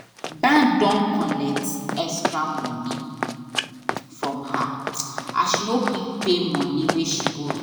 bank don collect extra money from her as she no quick pay money wey she burrow